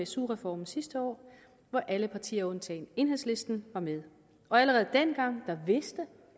su reformen sidste år hvor alle partier undtagen enhedslisten var med og allerede dengang vidste